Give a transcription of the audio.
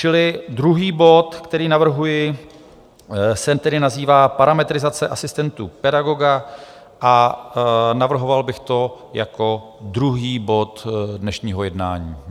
Čili druhý bod, který navrhuji, se tedy nazývá Parametrizace asistentů pedagoga a navrhoval bych to jako druhý bod dnešního jednání.